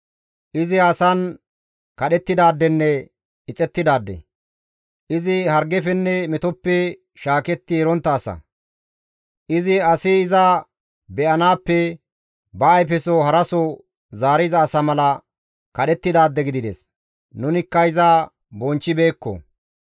Izi asan kadhettidaadenne ixettidaade; izi hargefenne metoppe shaaketti erontta asa; Izi asi iza be7anaappe ba ayfeso haraso zaariza asa mala kadhettidaade gidides; nunikka iza bonchchibeekko.